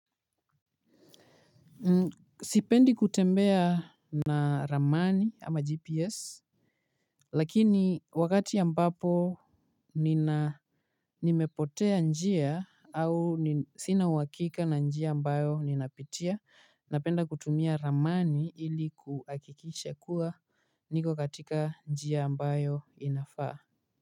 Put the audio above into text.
Sipendi kutembea na ramani ama gps. Lakini wakati ambapo nimepotea njia au sina uhakika na njia ambayo ninapitia napenda kutumia ramani ili kuhakikisha kuwa niko katika njia ambayo inafaa.